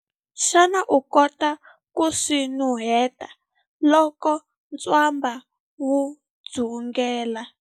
Xana u kota ku swi nuheta loko ntswamba wu dzungela?